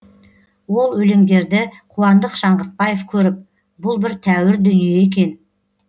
ол өлеңдерді қуандық шаңғытбаев көріп бұл бір тәуір дүние екен